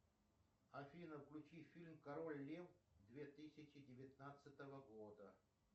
афина включи фильм король лев две тысячи девятнадцатого года